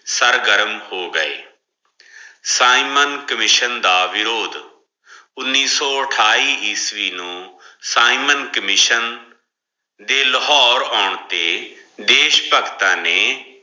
ਸਰਗਰਮ ਹੋ ਗਏ ਸਾਈਮਨ commission ਦਾ ਵਿਰੋਦ ਉਨੀ ਸੋ ਅਠਾਈ ਈਸਵੀ ਨੂ ਸਾਈਮਨ commission ਦੇ ਲਾਹੋਰ ਆਉਣ ਤੇ ਦੇਸ਼ ਭਗਤਾਂ ਨੇ